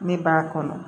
Ne b'a kɔnɔ